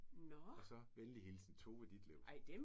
Og så venlig hilsen Tove Ditlevsen